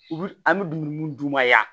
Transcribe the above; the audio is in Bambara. U bi an bɛ dumuni mun d'u ma yan